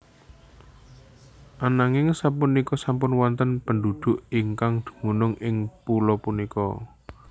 Ananging sapunika sampun wonten pendhudhuk ingkang dumunung ing pulo punika